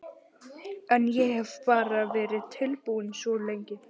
En ég hef bara verið tilbúinn svo lengi.